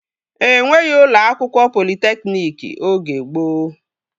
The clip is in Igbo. Enweghị ụlọ akwụkwọ politekniki oge gboo